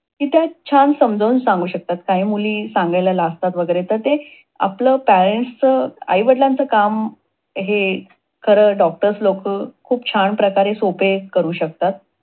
ती त्यात छान समजावून सांगू शकतात. काही मुली सांगायला लाजतात वगैरे, तर ते आपल Parents चं आई वडिलांचं काम Doctors लोक खूप छान प्रकारे सोपे करू शकतात.